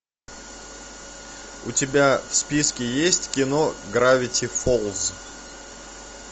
у тебя в списке есть кино гравити фолз